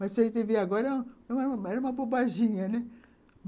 Mas, se a gente vê agora, era era era uma bobaginha, né.